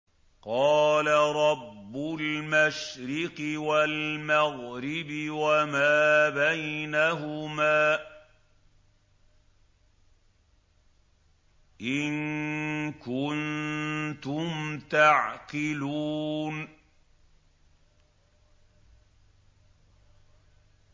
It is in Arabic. قَالَ رَبُّ الْمَشْرِقِ وَالْمَغْرِبِ وَمَا بَيْنَهُمَا ۖ إِن كُنتُمْ تَعْقِلُونَ